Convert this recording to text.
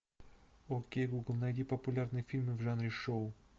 окей гугл найди популярные фильмы в жанре шоу